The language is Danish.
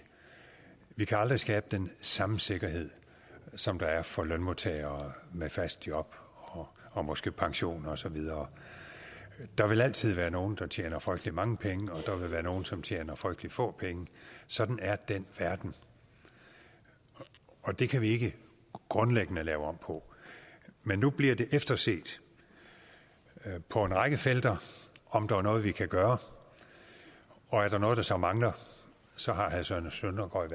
vi kan aldrig skabe den samme sikkerhed som der er for lønmodtagere med fast job og måske pension og så videre der vil altid være nogle der tjener frygtelig mange penge og der vil være nogle som tjener frygtelig få penge sådan er den verden og det kan vi ikke grundlæggende lave om på men nu bliver det efterset på en række felter om der er noget vi kan gøre og er der noget der så mangler så har herre søren søndergaard